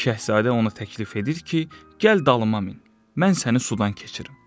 Şahzadə ona təklif edir ki, gəl dalıma min, mən səni sudan keçirim.